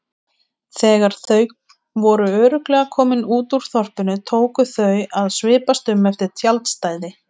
Þegar þau voru örugglega komin út úr þorpinu tóku þau að svipast um eftir tjaldstæði.